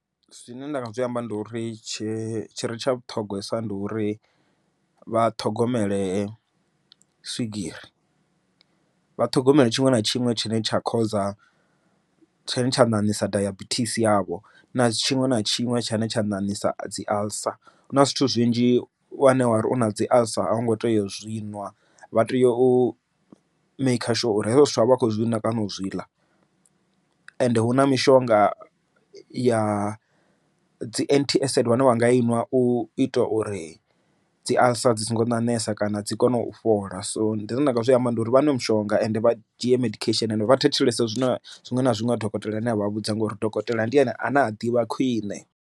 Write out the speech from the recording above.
Zwine nda nga zwi amba ndi uri tshire tsha vhuṱhogwesa ndi uri vhathogomele swigiri vhathogomele tshiṅwe na tshiṅwe tshine tsha khoza tshine tsha ṋaṋisa dayabithisi yavho na tshiṅwe na tshiṅwe tshine tsha nanisa dzi alcer. Huna zwithu zwinzhi wane wari u na dzi alcer a hu ngo teya u zwiṅwe nwa vha tea u maker sure uri hezwo zwithu avha akho zwinwa kana u zwi ḽa ende hu na mishonga ya dzi anti avid vhane vha nga i nwa u ita uri dzi alcer a dzi songo nanesa kana dzi kone u fhola so ndi konḓa nga maanḓa uri vha nwe mishonga ende vha dzhie medication vha thetshelesa zwino zwiṅwe na zwiṅwe ha dokotela ane a vha vhudza nga uri dokotela ndi ane a ne a ḓivha khwiṋe.